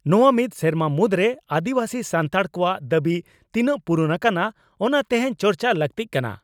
ᱱᱚᱣᱟ ᱢᱤᱫ ᱥᱮᱨᱢᱟ ᱢᱩᱫᱽᱨᱮ ᱟᱹᱫᱤᱵᱟᱹᱥᱤ ᱥᱟᱱᱛᱟᱲ ᱠᱚᱣᱟᱜ ᱫᱟᱵᱤ ᱛᱤᱱᱟᱝ ᱯᱩᱨᱩᱱ ᱟᱠᱟᱱᱟ, ᱚᱱᱟ ᱛᱮᱦᱮᱧ ᱪᱟᱨᱪᱟ ᱞᱟᱜᱛᱤᱜ ᱠᱟᱱᱟ ᱾